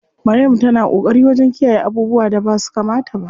Maryam ta na ƙoƙari wajen kiyayye abubuwan da basu kamata ba.